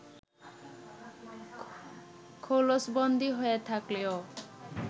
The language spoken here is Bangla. খোলসবন্দী হয়ে থাকলেও